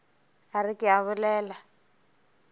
a re ke a bolela